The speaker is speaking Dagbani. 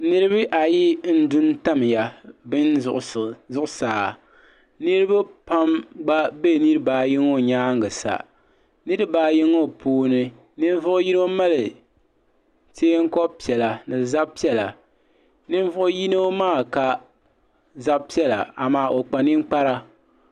Niriba ayi n duntamya bini zuɣusaa niriba pam gba be niriba ayi ŋɔ nyaanga sa niriba ayi ŋɔ puuni ninvuɣu yino mali teenko'piɛla zab'piɛlla ninvuɣu yino maa ka zab'piɛlla amaa o kpa ninkpara.